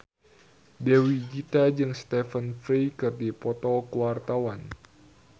Dewi Gita jeung Stephen Fry keur dipoto ku wartawan